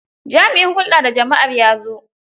Jami'in hulɗa da jama'ar ya zo.